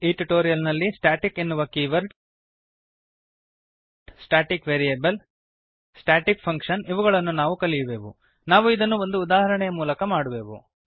ಈ ಟ್ಯುಟೋರಿಯಲ್ ನಲ್ಲಿ ಸ್ಟಾಟಿಕ್ ಎನ್ನುವ keyword static variable static function ಇವುಗಳನ್ನು ನಾವು ಕಲಿಯುವೆವು ನಾವು ಇದನ್ನು ಒಂದು ಉದಾಹರಣೆಯ ಮೂಲಕ ಮಾಡುವೆವು